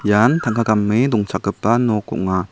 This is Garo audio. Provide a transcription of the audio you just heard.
ian tangka game dongchakgipa nok ong·a.